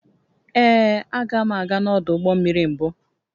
Ee, aga m aga n'ọdụ ụgbọ mmiri mbụ